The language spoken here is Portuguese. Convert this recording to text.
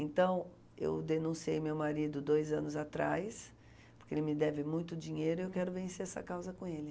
Então, eu denunciei meu marido dois anos atrás, porque ele me deve muito dinheiro e eu quero vencer essa causa com ele.